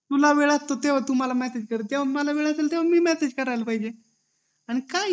जेव्हा तुला वेळ असेल तू मला मेसेज कर जेव्हा मला वेळ असेल तेव्हा मी मेसेज करायला पाहिजे आणि काय